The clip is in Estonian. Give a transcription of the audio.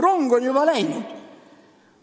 Rong on juba läinud.